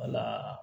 Wala